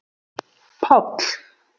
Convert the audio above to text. Páll